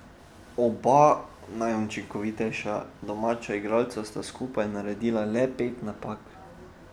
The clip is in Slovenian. Oba najučinkovitejša domača igralca sta skupaj naredila le pet napak.